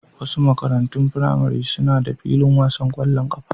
Wasu makarantun firamare suna da filin wasan kwallon kafa.